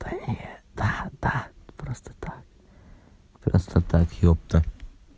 да нет да да просто так просто так ёпта